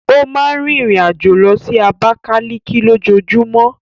Ó máa ń rìnrìn-àjò lọ sí Abakaliki lójoojúmọ́.